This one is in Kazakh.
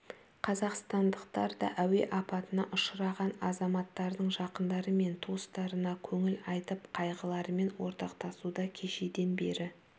қазақстандықтар да әуе апатына ұшыраған азаматтардың жақындары мен туыстарына көңіл айтып қайғыларымен ортақтастуда кешеден бері